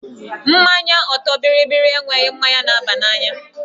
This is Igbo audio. Mmanya ọtọ bịrịbịrị enweghị mmanya na-aba n'anya